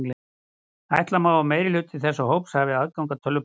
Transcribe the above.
Ætla má að meirihluti þessa hóps hafi aðgang að tölvupósti.